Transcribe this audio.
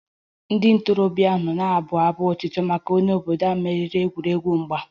Ndị ntorobịa ahụ nọ na-abụ abụ otuto maka onye obodo ahụ meriri egwuregwu mgba